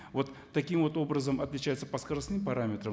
вот таким вот образом отличается по скоростным параметрам